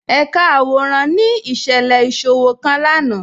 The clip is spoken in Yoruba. Ẹ̀kà àwọ̀ràn ni iṣẹ̀lẹ̀ iṣòwọ̀̀ kan lánà